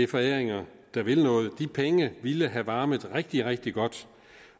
foræringer der vil noget de penge ville have varmet rigtig rigtig godt